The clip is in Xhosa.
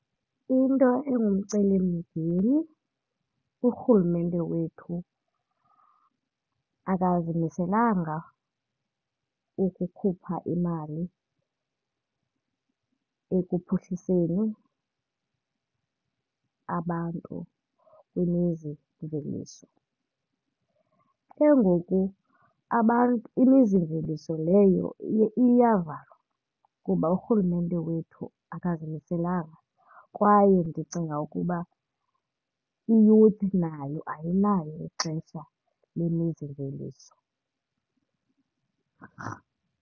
Into engumcelimngeni, uRhulumente wethu akazimiselanga ukukhupha imali ekuphuhliseni abantu kwimizimveliso. Ke ngoku imizimveliso leyo iyavalwa kuba uRhulumente wethu akazimiselanga kwaye ndicinga ukuba i-youth nayo ayinalo ixesha lemizimveliso.